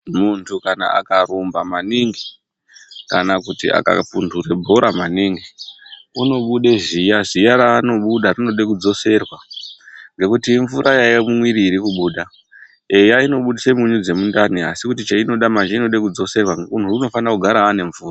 Muntu kana akarumba maningi kana kuti akapunhura bhora maningi unobuda ziya. Ziya raanobuda rinoda kudzoserwa ngekuti imvura yaiya mumwiri irikuba. Eya inobidsa mvura dziye ndani Ngekuti chainoda rinofanirwa kudzoserwa. Munhu unofanira kugara ane mvura